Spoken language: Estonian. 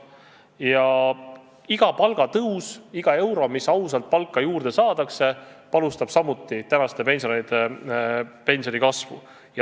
Ja iga palgatõus, iga euro, mis ausalt palka juurde saadakse, panustab samuti tänaste pensionäride pensioni kasvu.